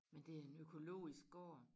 Men det en økologisk gård